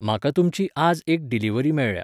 म्हाका तुमची आज एक डिलिव्हरी मेळ्ळ्या.